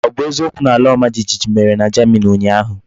O bu eziokwu na alaomajijiji mere na Germany unyahu?